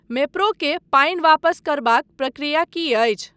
मेप्रो के पानि वापस करबाक प्रक्रिया की अछि?